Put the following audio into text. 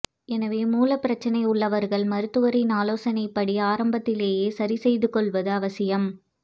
எனவே மூலப் பிரச்னை உள்ளவர்கள் மருத்துவரின் ஆலோசனைப்படி ஆரம்பத்திலேயே சரி செய்து கொள்வது அவசியம்